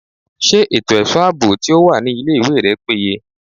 Ṣé ètò ẹ̀ṣọ́ àbò tí ó wà ní ilé ìwé rẹ péye?